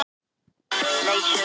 Engum er ár í annars óförum.